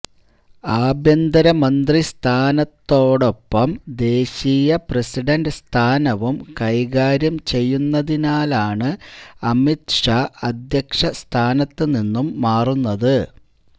അഭ്യന്തര മന്ത്രി സ്ഥാനത്തോടൊപ്പം ദേശീയ പ്രസിഡന്റ് സ്ഥാനവും കൈകാര്യം ചെയ്യുന്നതിനാലാണ് അമിത് ഷാ അധ്യക്ഷ സ്ഥാനത്ത് നിന്നും മാറുന്നത്്